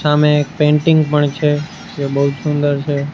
સામે એક પેન્ટિંગ પણ છે જે બો સુંદર છે.